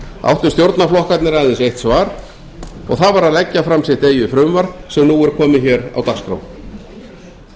áttu stjórnarflokkarnir aðeins eitt svar og það var að leggja fram sitt eigið frumvarp sem nú er komið hér á dagskrá ég